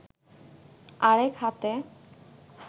আরেক হাতে